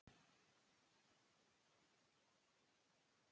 Eggþór, hversu margir dagar fram að næsta fríi?